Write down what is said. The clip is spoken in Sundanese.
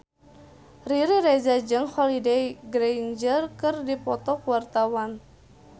Riri Reza jeung Holliday Grainger keur dipoto ku wartawan